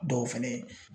Dɔw fɛnɛ ye